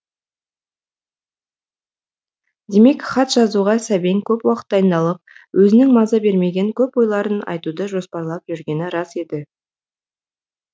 демек хат жазуға сәбең көп уақыт дайындалып өзінің маза бермеген көп ойларын айтуды жоспарлап жүргені рас еді